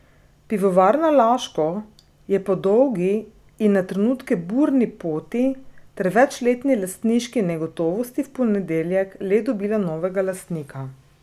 Pivovarna Laško je po dolgi in na trenutke burni poti ter večletni lastniški negotovosti v ponedeljek le dobila novega lastnika.